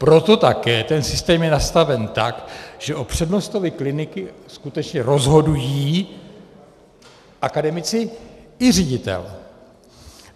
Proto také ten systém je nastaven tak, že o přednostovi kliniky skutečně rozhodují akademici i ředitel.